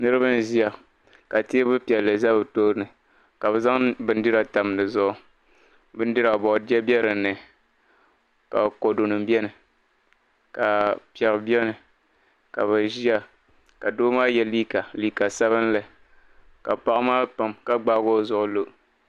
Niriba n-ʒiya ka teebuli piɛlli za be tooni ka be zaŋ bindira tam di zuɣu bindira maa bordiyɛ be dinni ka kɔdunima beni ka pɛri beni ka be ʒiya ka doo maa ye liiga liiga sabinli ka paɣa maa pam ka gbaai o zuɣu lo.